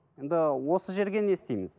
енді осы жерге не істейміз